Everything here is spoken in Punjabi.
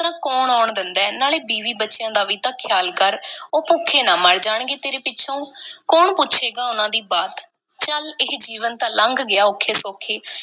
ਤਰ੍ਹਾਂ ਕੌਣ ਆਉਣ ਦਿੰਦਾ ਐ? ਨਾਲੇ ਬੀਵੀ-ਬੱਚਿਆਂ ਦਾ ਵੀ ਤਾਂ ਖ਼ਿਆਲ ਕਰ। ਉਹ ਭੁੱਖੇ ਨਾ ਮਰ ਜਾਣਗੇ, ਤੇਰੇ ਪਿੱਛੋਂ? ਕੌਣ ਪੁੱਛੇਗਾ ਉਹਨਾਂ ਦੀ ਬਾਤ? ਚੱਲ, ਇਹ ਜੀਵਨ ਤਾਂ ਲੰਘ ਗਿਆ ਔਖੇ-ਸੌਖੇ,